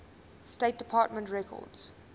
state department records